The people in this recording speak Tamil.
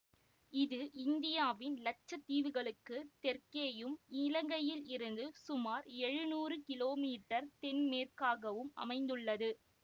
இது இந்தியாவின் இலட்சத்தீவுகளுக்கு தெற்கேயும் இலங்கையிலிருந்து சுமார் எழுநூறு கிலோமீட்டர் தென்மேற்காகவும் அமைந்துள்ளது